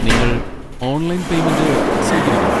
നിങ്ങൾ online payment സ്വീകരിക്കുമോ?